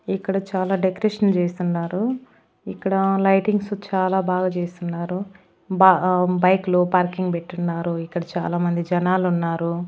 ఇక్కడ చాలా డెకరేషన్ చేస్తున్నారు ఇక్కడ లైటింగ్స్ చాలా బాగా చేసున్నారు బా బైక్ లు పార్కింగ్ పెట్టున్నారు ఇక్కడ చాలామంది జనాలున్నారు.